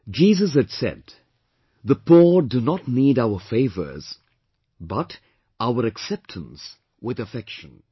Jesus had said "The poor do not need our favours but our acceptance with affection